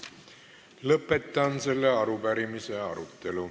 Lõpetan selle arupärimise arutelu.